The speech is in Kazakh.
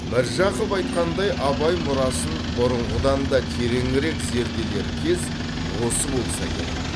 міржақып айтқандай абай мұрасын бұрынғыдан да тереңірек зерделер кез осы болса керек